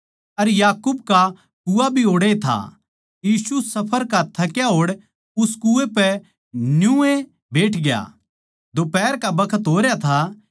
अर याकूब का कुआँ भी ओड़ैए था यीशु सफर का थक्या होड़ उस कुएँ पै न्यूए बैठग्या दोफ्हारा का बखत होरया था